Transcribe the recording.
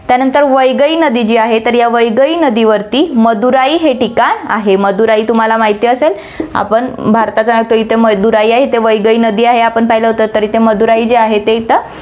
त्यानंतर वैगई नदी जी आहे, तर या वैगई नदीवरती मदुराई हे ठिकाण आहे. मदुराई तुम्हाला माहिती असेल, आपण भारतात राहतो, इथे मदुराई आहे, इथे वैगई नदी आहे, आपण पहिलं होतं, तर इथे मदुराई जे आहे ते इथं